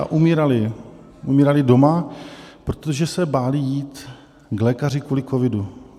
A umírali doma, protože se báli jít k lékaři kvůli covidu.